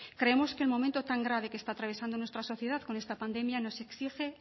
creemos que el momento tan grave que está atravesando en nuestra sociedad con esta pandemia nos exige